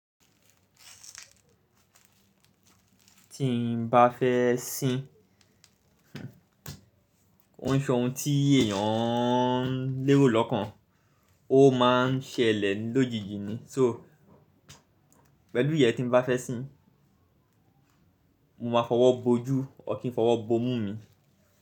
Tí n ba fẹ́ sin ko n se ohun tí èèyàn ń lérò lọ́kàn, o má a ń ṣẹlẹ̀ lójijì ni. So pẹ̀lú ìyẹ́n tí n bá fẹ́ sin, mo máa fọwọ́ bo ojú, ọkín fọwọ́ bo imú mi.